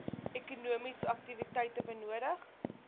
ekonomiese aktiwiteite benodig